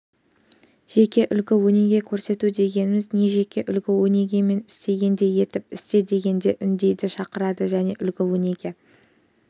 жеке үлгі-өнеге көрсету дегеніміз не жеке үлгі-өнеге мен істегендей етіп істе дегенге үндейді шақырады жеке үлгі-өнеге